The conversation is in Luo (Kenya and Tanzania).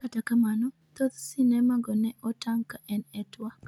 kata kamano ,thoth simema go ne otang'e ka en e twak